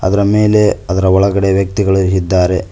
ಅದರ ಮೇಲೆ ಅದರ ಒಳಗಡೆ ವ್ಯಕ್ತಿಗಳು ಇದ್ದಾರೆ.